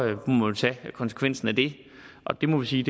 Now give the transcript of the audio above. må man tage konsekvensen af det og det må vi sige